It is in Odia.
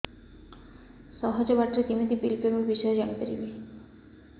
ସହଜ ବାଟ ରେ କେମିତି ବିଲ୍ ପେମେଣ୍ଟ ବିଷୟ ରେ ଜାଣି ପାରିବି